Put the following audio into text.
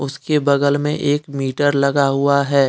उसके बगल में एक मीटर लगा हुआ है।